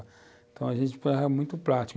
Então, a gente era muito prático.